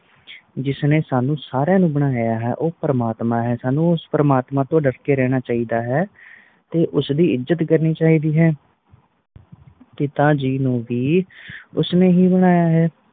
ਜਿਸ ਨੇ ਸਾਨੂ ਸਾਰੀਆਂ ਨੂੰ ਬਨਾਯਾ ਹੈ ਉਹ ਪ੍ਰਮਾਤਮਾ ਹੈ ਸਾਨੂ ਉਸ ਪ੍ਰਮਾਤਮਾ ਤੋਂ ਡਾਰ ਕ ਰਹਿਣਾ ਚਾਹੀਦਾ ਹੈ ਤੇ ਉਸ ਦੀ ਇਜ਼ਤ ਕਰਨੀ ਚਾਹੀਦੀ ਹੈ ਪਿਤਾ ਜੀ ਨੂੰ ਵੀ ਉਸਨੇ ਹੀ ਬਨਾਯਾ ਹੈ